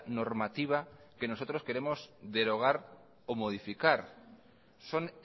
normativa que nosotros queremos derogar o modificar son